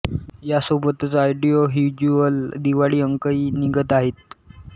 या सोबतच audio visual Diwali अंकही निघत आहेत